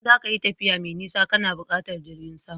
Idan za ka yi tafiya mai nisa kana buƙatar jirgin sama